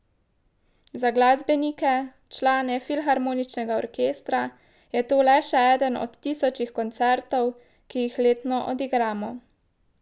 Za glasbenike, člane filharmoničnega orkestra, je to le še eden od tisočih koncertov, ki jih letno odigramo.